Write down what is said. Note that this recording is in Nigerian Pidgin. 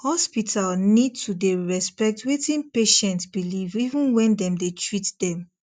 hospital need to dey respect wetin patient believe even when dem dey treat them